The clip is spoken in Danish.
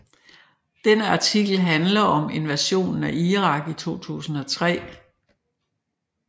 Denne artikel handler om invasionen af Irak i 2003